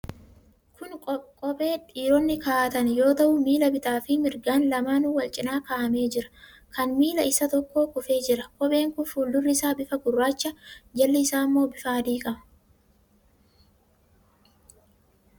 Kun kophee dhiironni kaa'atan yoo ta'u, miilli bitaa fi mirgaan lamaanuu wal cina kaa'amee jira. Kan miila isa tokkoo kufee jira. Kopheen kun fuuldurri isaa bifa gurraacha, jalli isaa immoo bifa adii qaba.